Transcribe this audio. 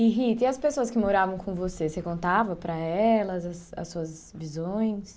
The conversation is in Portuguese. E Rita, e as pessoas que moravam com você, você contava para elas as suas visões?